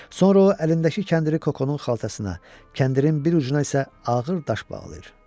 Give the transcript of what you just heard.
Sonra o əlindəki kəndiri Kokonun xaltasına, kəndirin bir ucuna isə ağır daş bağlayır.